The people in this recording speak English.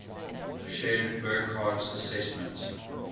shared burckhardt's assessment